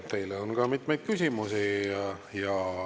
Teile on ka mitmeid küsimusi.